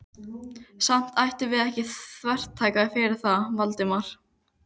Samt ættum við ekki að þvertaka fyrir það, Valdimar.